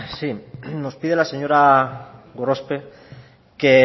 sí nos pide la señora gorospe que